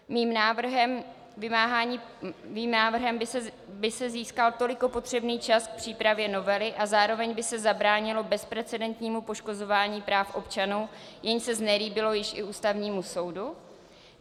Mým návrhem by se získal toliko potřebný čas k přípravě novely a zároveň by se zabránilo bezprecedentnímu poškozování práv občanů, jež se znelíbilo již i Ústavnímu soudu.